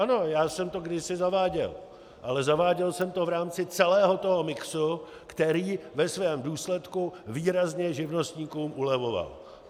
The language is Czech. Ano, já jsem to kdysi zaváděl, ale zaváděl jsem to v rámci celého toho mixu, který ve svém důsledku výrazně živnostníkům ulevoval.